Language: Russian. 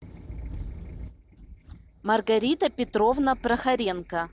маргарита петровна прохоренко